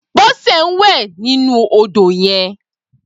Bose n wè ninú ódó yèn